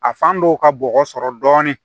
A fan dɔw ka bɔgɔ sɔrɔ dɔɔnin